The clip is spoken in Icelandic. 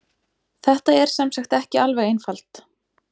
Þetta er sem sagt ekki alveg einfalt.